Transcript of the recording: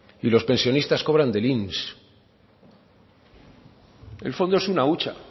y los pensionistas cobran del inss el fondo es una hucha